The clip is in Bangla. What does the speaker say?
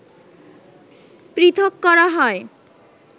পৃথক করা হয়